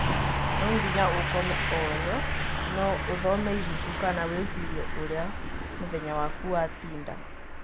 To nginya ũkome orio, no ũthome ibuku kana wĩcirie ũria mũthenya waku watinda